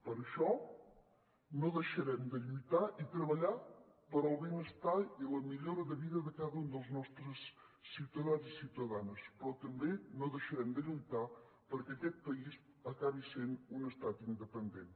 per això no deixarem de lluitar i treballar pel benestar i la millora de vida de cada un dels nostres ciutadans i ciutadanes però tampoc no deixarem de lluitar perquè aquest país acabi sent un estat independent